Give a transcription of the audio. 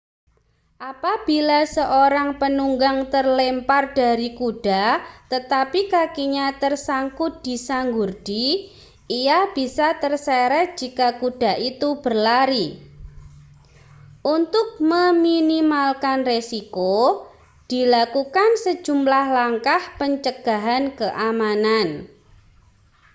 apabila seorang penunggang terlempar dari kuda tetapi kakinya tersangkut di sanggurdi ia bisa terseret jika kuda itu berlari untuk meminimalkan risiko dilakukan sejumlah langkah pencegahan keamanan